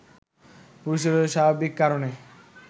পুরুষেরা স্বাভাবিক কারণে